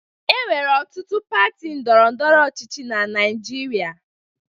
Enwere ọtụtụ pati ndọrọ ndọrọ ọchịchị na Naịjirịa